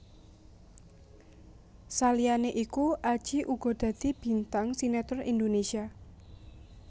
Saliyané iku Adjie uga dadi bintang sinetron Indonésia